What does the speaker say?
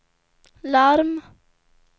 larm